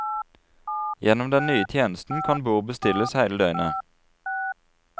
Gjennom den nye tjenesten kan bord bestilles hele døgnet.